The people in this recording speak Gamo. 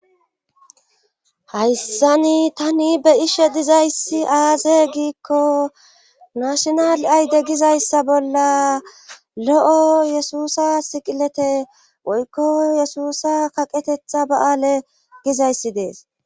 Hayssani tani be'ishe dizayssi aaze giikko maashinal ayde gizayssa bolla lo7o yesusa siqilete woykko yesusa kaqetetha ba7aale gizayssi dees.